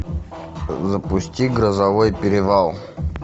запусти грозовой перевал